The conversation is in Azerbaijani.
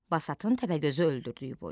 Basatın Təpəgözü öldürdüyü boy.